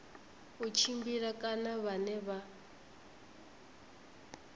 u tshimbila kana vhane vha